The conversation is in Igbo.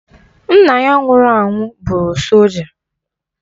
Nna ya nwụrụ anwụ bụrụ solja